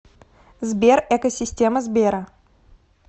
сбер эко система сбера